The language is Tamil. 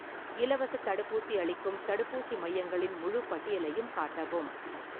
இலவசத் தடுப்பூசி அளிக்கும் தடுப்பூசி மையங்களின் முழுப் பட்டியலையும் காட்டவும்